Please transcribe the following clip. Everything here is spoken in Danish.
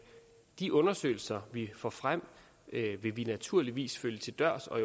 de undersøgelser vi får frem vil vi naturligvis følge til dørs og